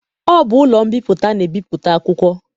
Ọ bụ ụlọ mbipụta na-ebipụta akwụkwọ.